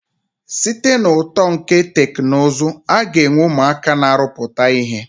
Site na uto nke teknụzụ, aga enwe ụmụaka ma arụpụta ihe.